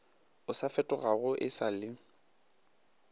o sa fetogago e sale